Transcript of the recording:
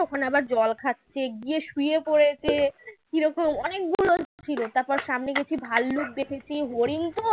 ওখানে আবার জল খাচ্ছে গিয়ে শুয়ে পড়েছে কী রকম অনেকগুলো ছিল তারপর সামনে গেছি ভাল্লুক দেখেছি হরিণ